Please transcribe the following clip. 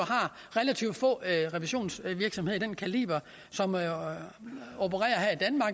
relativt få revisionsvirksomheder af den kaliber som opererer